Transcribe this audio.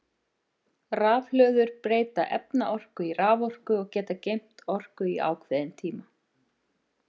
Rafhlöður breyta efnaorku í raforku og geta geymt orku í ákveðin tíma.